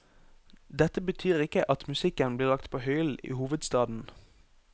Dette betyr ikke at musikken blir lagt på hyllen i hovedstaden.